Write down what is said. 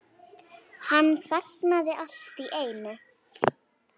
Hann þagnaði allt í einu.